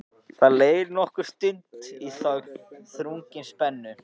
Það leið nokkur stund í þögn, þrungin spennu.